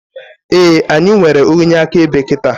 Éè, anyị nwere onye akaebe kịta